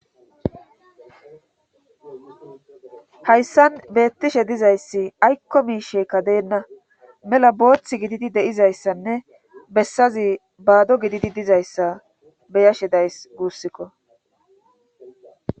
hayssan beettishe dizayssi aykko miisheekka deenna mela boothth gididi de7izayssanne bessazi baado gididi dizayssa beyashedays guussikko